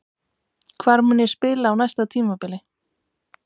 Hvar mun ég spila á næsta tímabili?